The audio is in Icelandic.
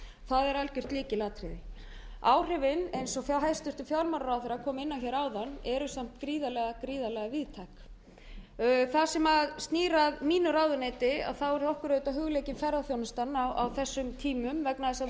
það er algjört lykilatriði áhrifin eins og hæstvirtur fjármálaráðherra kom inn á hér áðan eru samt gríðarlega gríðarlega víðtæk það sem snýr að mínu ráðuneyti er okkur auðvitað hugleikin ferðaþjónustan á þessum tímum vegna þess að við